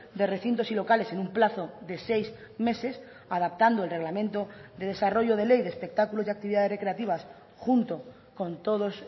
de recintos y locales en un plazo de seis meses adaptando el reglamento de desarrollo de ley de espectáculos y actividades recreativas junto con todos